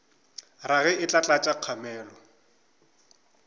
rage e tla tlatša kgamelo